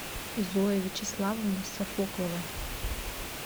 зоя вячеславовна софоклова